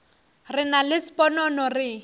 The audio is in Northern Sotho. re nna le sponono re